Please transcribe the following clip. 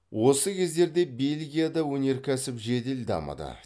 осы кездерде бельгияда өнеркәсіп жедел дамыды